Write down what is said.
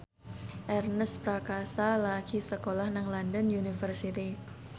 Ernest Prakasa lagi sekolah nang London University